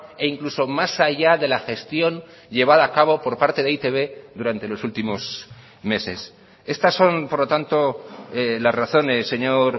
e incluso más allá de la gestión llevada a cabo por parte de e i te be durante los últimos meses estas son por lo tanto las razones señor